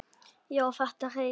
Já, þetta hreif!